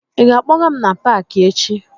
Ị ga-akpọga m n'Paakị echi?